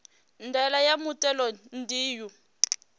ndaela ya muthelo ndi u